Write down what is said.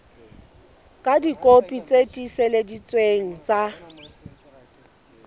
ka dikopi tse tiiseleditsweng tsa